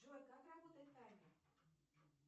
джой как работает таймер